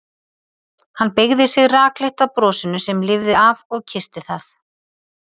Hann beygði sig rakleitt að brosinu sem lifði af og kyssti það.